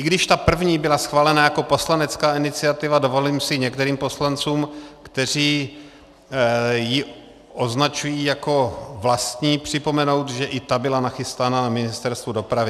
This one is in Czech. I když ta první byla schválena jako poslanecká iniciativa, dovolím si některým poslancům, kteří ji označují jako vlastní, připomenout, že i ta byla nachystaná na Ministerstvu dopravy.